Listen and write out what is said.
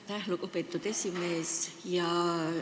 Aitäh, lugupeetud aseesimees!